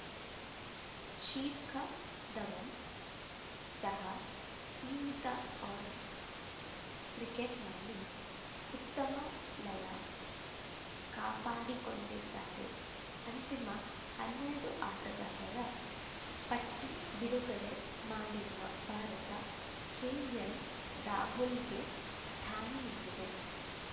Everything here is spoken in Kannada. ಶಿರ್‌ಖ ಧವನ್‌ ಸಹ ಸೀಮಿತ ಓವರ್‌ ಕ್ರಿಕೆಟ್‌ನಲ್ಲಿ ಉತ್ತಮ ಲಯ ಕಾಪಾಡಿಕೊಂಡಿದ್ದಾರೆ ಅಂತಿಮ ಹನ್ನೆರಡು ಆಟಗಾರರ ಪಟ್ಟಿಬಿಡುಗಡೆ ಮಾಡಿರುವ ಭಾರತ ಕೆಎಲ್‌ರಾಹುಲ್‌ಗೆ ಸ್ಥಾನ ನೀಡಿದೆ